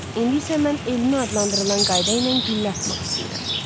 İndi isə mən elmi adlandırılan qayda ilə güllə atmaq istəyirəm.